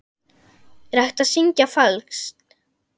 Er hægt að syngja falskt?